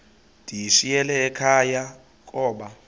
ndiyishiyile ekhaya koba